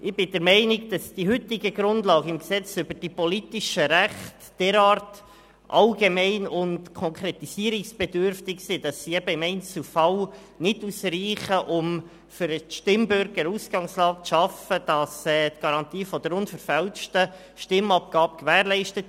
Ich bin der Meinung, dass die heutigen Grundlagen im PRG derart allgemein und konkretisierungsbedürftig sind, dass sie im Einzelfall nicht ausreichen, um für den Stimmbürger eine Ausgangslage zu schaffen, die eine unverfälschte Stimmabgabe ermöglicht.